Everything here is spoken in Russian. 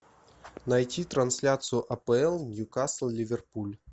найти трансляцию апл ньюкасл ливерпуль